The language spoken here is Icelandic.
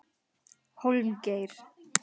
Hólmgeir